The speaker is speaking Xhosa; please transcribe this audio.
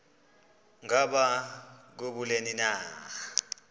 ngaba kubleni na